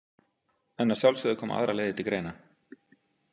En að sjálfsögðu koma aðrar leiðir til greina.